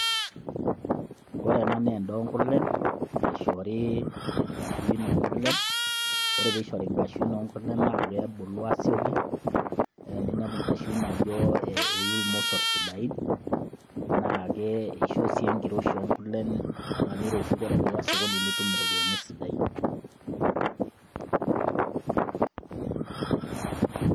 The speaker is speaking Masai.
Ore ena naa endaa oo nkurlen, eishoru nkaswiin oo nkurlen, ore pee eishori inkaswiin oo nkurlen naa kebulu asioki. Ninepu inkaswiin oo nkurlen ajo eyuu ilmosor sidain, naa keishoo sii enkiroshi oo nkurlen metaa keiroshu metaa ore pee iya sokoni nitumi iropiani sidain.